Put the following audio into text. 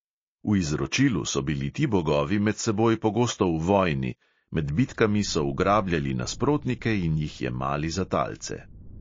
V izročilu so bili ti bogovi med seboj pogosto v vojni, med bitkami so ugrabljali nasprotnike in jih jemali za talce.